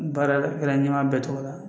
Baara kɛra ɲɛmaa bɛɛ togo la